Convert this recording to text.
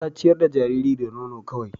Ta ciyar da jariri da nono kawai